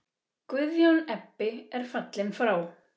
Guðjón Ebbi er fallinn frá.